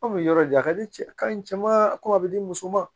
Anw bɛ yɔrɔ di a ka di cɛ ka ɲi cɛ ma ko a bɛ di muso ma